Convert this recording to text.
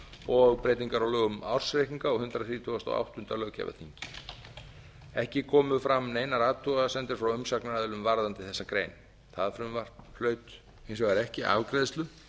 og breytingar á lögum um ársreikninga á hundrað þrítugasta og áttunda löggjafarþingi ekki komu fram neinar athugasemdir frá umsagnaraðilum varðandi þessa grein það frumvarp hlaut hins vegar ekki afgreiðslu